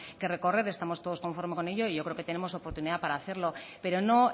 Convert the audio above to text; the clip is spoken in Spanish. que recorrer estamos todos conforme con ello y yo creo que tenemos oportunidad para hacerlo pero no